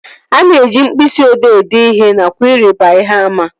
A na-eji mkpịsị odee ede ihe nakwa ịrịba ihe àmà